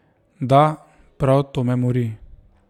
Da, prav to me mori.